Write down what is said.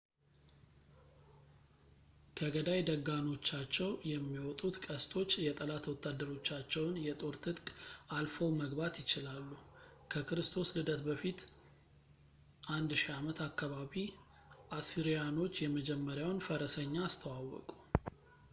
ከገዳይ ደጋኖቻቸው የሚወጡት ቀስቶች የጠላት ወታደሮቻቸውን የጦር ትጥቅ አልፈው መግባት ይችላሉ ከክርስቶስ ልደት በፊት 1000 ዓመት አካባቢ አሲሪያኖች የመጀመሪያውን ፈረሰኛ አስተዋወቁ